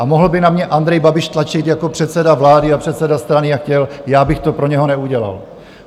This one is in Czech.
A mohl by na mě Andrej Babiš tlačit jako předseda vlády a předseda strany, jak chtěl, já bych to pro něho neudělal.